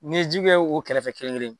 N'i ye ji kɛ u kɛrɛfɛ kelen-kelen